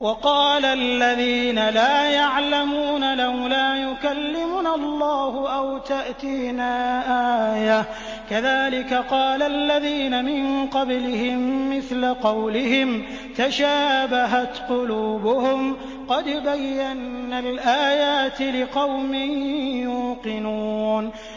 وَقَالَ الَّذِينَ لَا يَعْلَمُونَ لَوْلَا يُكَلِّمُنَا اللَّهُ أَوْ تَأْتِينَا آيَةٌ ۗ كَذَٰلِكَ قَالَ الَّذِينَ مِن قَبْلِهِم مِّثْلَ قَوْلِهِمْ ۘ تَشَابَهَتْ قُلُوبُهُمْ ۗ قَدْ بَيَّنَّا الْآيَاتِ لِقَوْمٍ يُوقِنُونَ